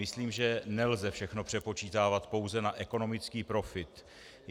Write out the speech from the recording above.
Myslím, že nelze všechno přepočítávat pouze na ekonomický profit.